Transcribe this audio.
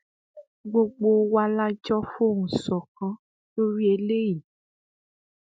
gbogbo wa la jọ fohùn ṣọkan lórí eléyìí